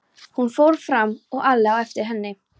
Hún fór fram og Alli á eftir henni.